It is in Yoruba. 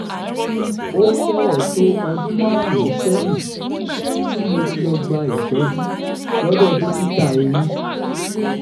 ó fẹrẹẹ tó ọdún márùnún sẹyìn tí mo ti lọ gba ìtọjú lọdọ dókítà eyín